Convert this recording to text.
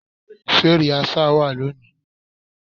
Ṣé rìásà wá lónìí?